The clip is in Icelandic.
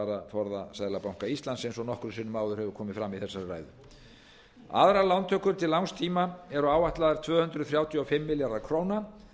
gjaldeyrisvaraforða seðlabanka íslands eins og nokkrum sinnum áður hefur komið fram í þessari ræðu aðrar lántökur til langs tíma eru áætlaðar tvö hundruð þrjátíu og fimm milljarðar króna